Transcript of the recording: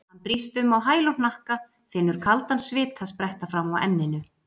Hann brýst um á hæl og hnakka, finnur kaldan svita spretta fram á enninu.